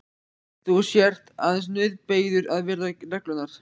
Þú sért aðeins nauðbeygður að virða reglurnar.